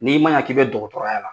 N'i ma ɲa k'i bɛ dɔgɔtɔrɔya la